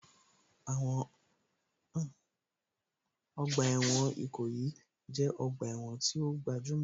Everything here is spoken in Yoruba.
Ọgbà ẹ̀wọ̀n Ìkòyí jẹ́ ọgbà ẹ̀wọ̀n tí ó gbajúmọ̀